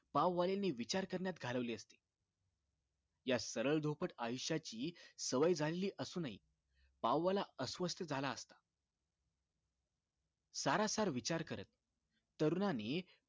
पाववाल्याने विचार करण्यात घालवली असती यात सरळ धोपट आयुष्याची सवय झालेली असूनही पाववाला अस्वस्थ झाला सारासार विचार करत तरुणांनी